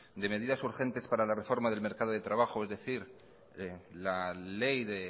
de medidas urgentes para la reforma del mercado de trabajo es decir la ley de